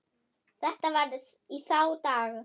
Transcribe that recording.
Þetta var í þá daga.